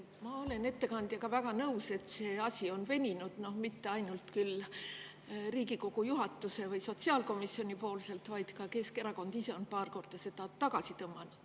Ma olen ettekandjaga väga nõus, et see asi on veninud, küll mitte ainult Riigikogu juhatuse või sotsiaalkomisjoni, vaid ka Keskerakond ise on paar korda seda tagasi tõmmanud.